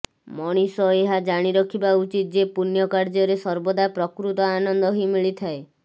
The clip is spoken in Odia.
ମଣିଷ ଏହା ଜାଣିରଖିବା ଉଚିତ ଯେ ପୁଣ୍ୟ କାର୍ଯ୍ୟ ରେ ସର୍ବଦା ପ୍ରକୃତ ଆନନ୍ଦ ହିଁ ମିଳିଥାଏ